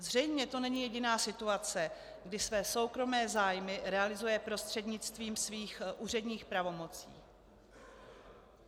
Zřejmě to není jediná situace, kdy své soukromé zájmy realizuje prostřednictvím svých úředních pravomocí.